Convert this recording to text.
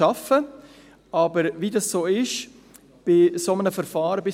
Wie es bei einem solchen Verfahren ist: